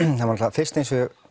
fyrst eins og ég